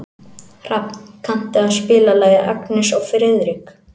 Hrafn, kanntu að spila lagið „Agnes og Friðrik“?